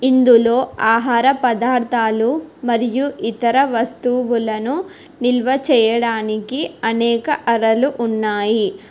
ఇందులో ఆహార పదార్థాలు మరియు ఇతర వస్తువులను నిల్వ చేయడానికి అనేక అరలు ఉన్నాయి.